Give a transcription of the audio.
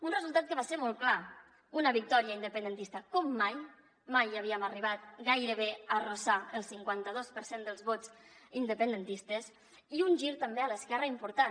un resultat que va ser molt clar una victòria independentista com mai mai havíem arribat gairebé a fregar el cinquanta dos per cent dels vots independentistes i un gir també a l’esquerra important